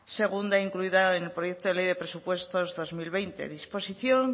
segunda incluida en el proyecto de ley de presupuestos dos mil veinte disposición